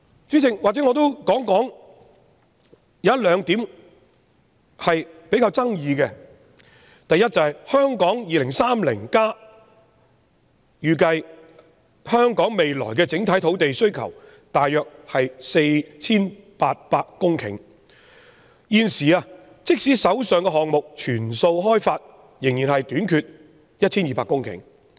主席，或許讓我再提出較具爭議的兩點：第一，《香港 2030+》預計香港未來的整體土地需求約為 4,800 公頃，即使把現時已有的項目全數開發，仍欠缺 1,200 公頃。